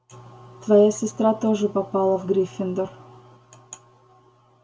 твоя сестра тоже попала в гриффиндор